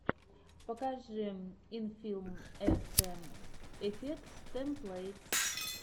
покажи инфилм эфтэ эфектс тэмплэйтс